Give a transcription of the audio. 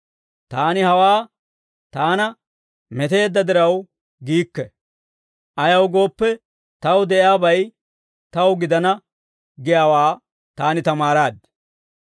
Taani hawaa taana meteedda diraw giikke; ayaw gooppe, taw de'iyaabay taw gidana giyaawaa taani tamaaraad.